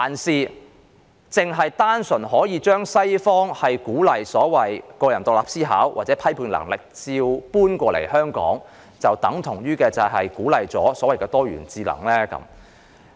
是否單純把西方鼓勵個人獨立思考或批判能力的一套照搬過來香港，便等於支持多元智能理念？